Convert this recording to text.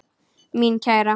Mín kæra.